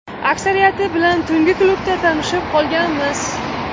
Aksariyati bilan tungi klubda tanishib qolganmiz.